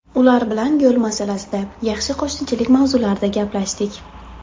Ular bilan yo‘l masalasida, yaxshi qo‘shnichilik mavzularida gaplashdik.